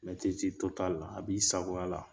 a b'i sagoya la.